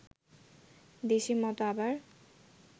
দেশী মত আবার